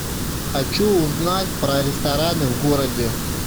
хочу узнать про рестораны в городе